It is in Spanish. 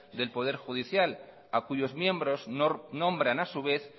del poder judicial a cuyos miembros nombran a su vez